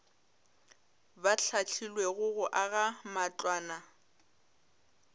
ba hlahlilwego go aga matlwana